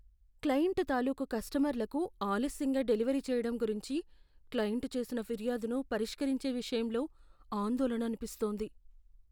Client తాలూకు కస్టమర్లకు ఆలస్యంగా డెలివరీ చేయడం గురించి క్లయింట్ చేసిన ఫిర్యాదును పరిష్కరించే విషయంలో ఆందోళన అనిపిస్తోంది.